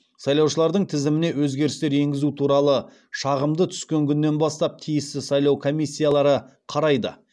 сайлаушылардың тізіміне өзгерістер енгізу туралы шағымды түскен күннен бастап тиісті сайлау комиссиялары қарайды